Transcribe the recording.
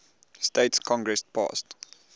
states congress passed